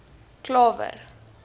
klawer